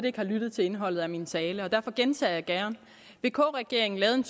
ikke har lyttet til indholdet af min tale og derfor gentager jeg gerne vk regeringen lavede en